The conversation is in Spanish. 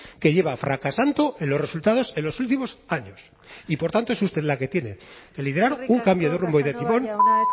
que lleva fracasando en los resultados en los últimos años y por tanto es usted la que tiene que liderar un cambio de rumbo y de timón